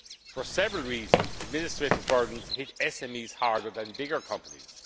EU acquis. For several reasons, administrative burdens hit SMEs harder than bigger